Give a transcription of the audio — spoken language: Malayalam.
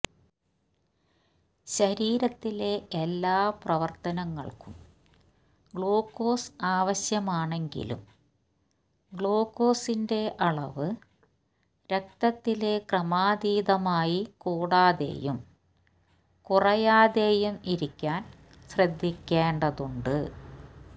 ശരീരത്തിലെ എല്ലാ പ്രവര്ത്തനങ്ങള്ക്കും ഗ്ലൂക്കോസ് ആവശ്യമാണെങ്കിലും ഗ്ലൂക്കോസിന്റെ അളവ് രക്തത്തില് ക്രമാതീതമായി കൂടാതെയും കുറയാതെയും ഇരിക്കാന് ശ്രദ്ധിക്കേണ്ടതുണ്ട്